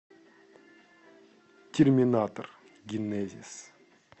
терминатор генезис